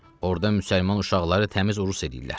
Orda müsəlman uşaqları təmiz rus eləyirlər.